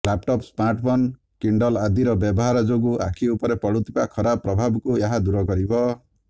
laptop smartphone Kindle ଆଦିର ବ୍ୟବହାର ଯୋଗୁ ଆଖି ଉପରେ ପଡ଼ୁଥିବା ଖରାପ ପ୍ରଭାବକୁ ଏହା ଦୂର କରିବ